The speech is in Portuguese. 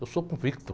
Eu sou convicto.